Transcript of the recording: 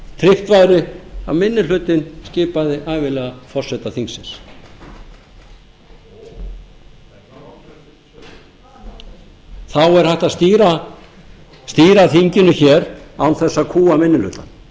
ef tryggt væri að minni hlutinn skipaði ævinlega forseta þingsins þá er hægt að stýra þinginu hér án þess að kúga minni